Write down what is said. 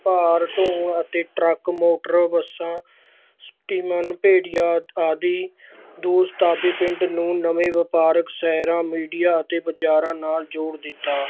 ਭਾਰ ਢੋਣ ਅਤੇ ਟਰੱਕ ਮੋਟਰ ਬੱਸਾਂ ਆਦਿ ਪਿੰਡ ਨੂੰ ਨਵੇਂ ਵਾਪਾਰਕ ਸ਼ਹਿਰਾਂ ਮੀਡੀਆ ਅਤੇ ਬਾਜ਼ਾਰਾਂ ਨਾਲ ਜੋੜ ਦਿੱਤਾ।